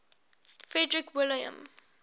frederick william